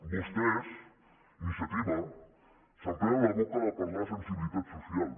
vostès iniciativa s’emplenen la boca de parlar de sensibilitat social